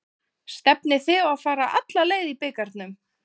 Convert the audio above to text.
Stefnið þið á að fara alla leið í bikarnum?